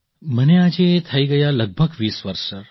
મને આજે થઈ ગયા લગભગ ૨૦ વર્ષ સર